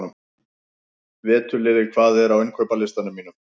Veturliði, hvað er á innkaupalistanum mínum?